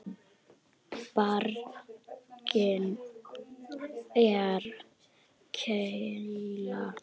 Barkinn er keila.